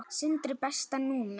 Sindri Besta númer?